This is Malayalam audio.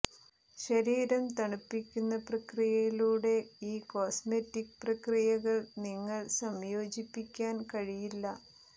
ശരീരം തണുപ്പിക്കുന്ന പ്രക്രിയയിലൂടെ ഈ കോസ്മെറ്റിക് പ്രക്രിയകൾ നിങ്ങൾ സംയോജിപ്പിക്കാൻ കഴിയില്ല